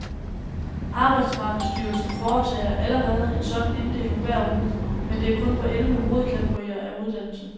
Arbejdsmarkedsstyrelsen foretager allerede en sådan inddeling hver uge, men det er kun på elleve hovedkategorier af uddannelse.